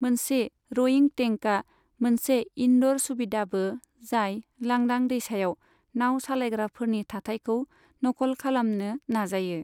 मोनसे रइंग टेंकआ मोनसे इनड'र सुबिदाबो जाय लांदां दैसायाव नाव सालायग्राफोरनि थाथाइखौ नकल खालामनो नाजायो।